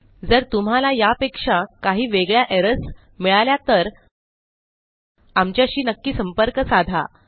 जर तुम्हाला यापेक्षा काही वेगळ्या एरर्स मिळाल्या तर आमच्याशी नक्की संपर्क साधा